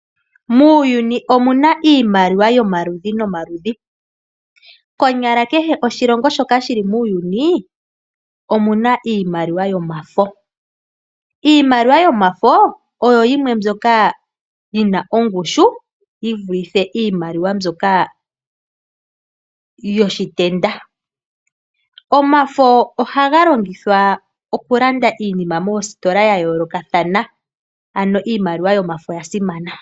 Muuyuni omuna iimaliwa yomaludhi nomaludhi, konyala kehe oshilongo shoka shili muuyuni omuna iimaliwa yomafo. Iimaliwa yomafo oyo yimwe mbyoka yina ongushu yi vulithe iimaliwa mbyoka yiitenda, omafo ohaga longithwa oku landa iinima moostola ya yolokathana ano iimaliwa yomafo oyasimana.